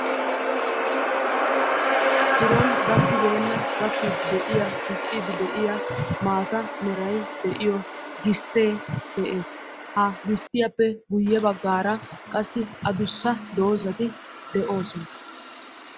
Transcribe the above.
biron gakkibeena gakkide de'iyaa diccide de'iyaa gistee de'ees ha gisttiyaappe guyye baggara qassi addussa dozati de'ossona